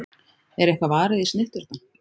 Er eitthvað varið í snitturnar?